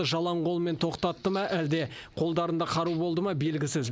жалаң қолмен тоқтатты ма әлде қолдарында қару болды ма белгісіз